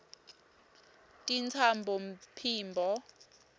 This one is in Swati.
tintsambophimbo